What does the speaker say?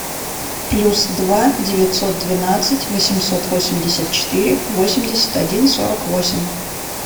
плюс два девятьсот двенадцать восемьсот восемьдесят четыре восемьдесят один сорок восемь